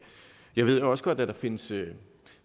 jeg ved også godt at der findes